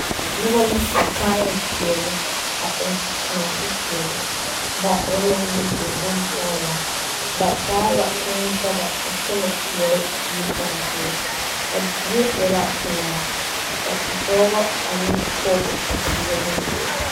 noba la su kaayɛ pɛɛle a kyɛ eŋɛ nɔɔte pɛɛle meŋ ba eŋ la nyɔbori bon poɔgeraa ba taa la kʋʋ daga a kyɛne kpɛre die kaŋa poɔ ,a zie e la pelaa ka Dɔba ane pɔgeba a tuuro ba puori